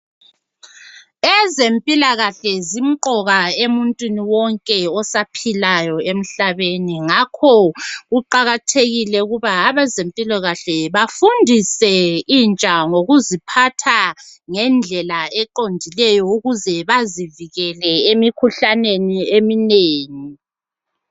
Ezempilakahle zimqoka emuntwini wonke osaphilayo emhlabeni ngakho kuqakathekile ukuthi abazempilakahle bafundise intsha ngokuziphatha ngendlela eqondileyo Ukuze bazivikele emikhuhlaneni eminingi.